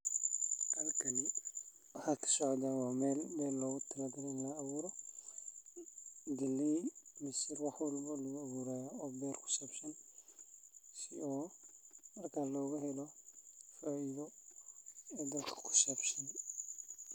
Halkani waxaa kasocdaa waa meel beer logutalagaley in lagaabuuro galey mise wax walbo laguabuurayo oo beer kusaabsan si loogahelo faaidho e dalka kusaabsan.